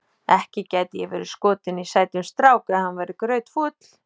Ekki gæti ég verið skotin í sætum strák ef hann væri grautfúll.